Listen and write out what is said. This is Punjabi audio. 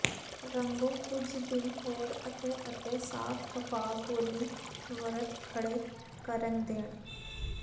ਰੰਗੋ ਕੁਝ ਦਿਨ ਹੋਰ ਅਤੇ ਅਤੇ ਸਾਫ਼ ਕਪਾਹ ਗੋਲੀ ਵਰਤ ਖੜ੍ਹੇ ਕਰਨ ਦੇਣ